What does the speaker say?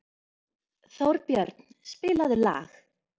Þórbjörn, spilaðu lag.